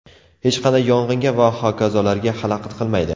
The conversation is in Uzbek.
Hech qanday yong‘inga va hokazolarga xalaqit qilmaydi”.